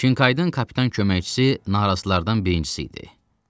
Çinkaydan kapitan köməkçisi narazılardan birincisi idi.